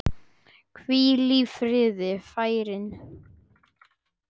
Hvíl í friði, frændi.